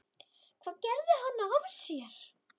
Hvað gerði hann af sér?